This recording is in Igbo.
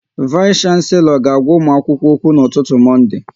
Vais Shanselo ga agwa ụmụ akwụkwọ okwu n'ụtụtụ Monde